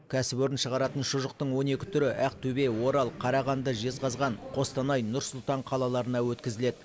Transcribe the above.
кәсіпорын шығаратын шұжықтың он екі түрі ақтөбе орал қарағанды жезқазған қостанай нұр сұлтан қалаларына өткізіледі